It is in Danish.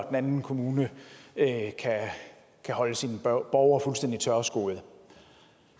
anden kommune kan holde sine borgere fuldstændig tørskoede